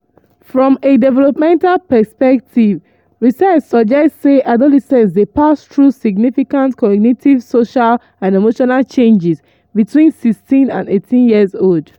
"from a developmental perspective research suggest say say adolescents dey pass through significant cognitive social and emotional changes between 16 and 18 years old.